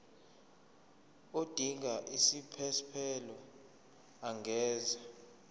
odinga isiphesphelo angenza